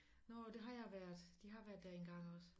Nåh der har jeg været de har været der engang også